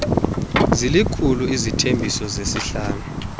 zilikhulu isithembiso sesihlanu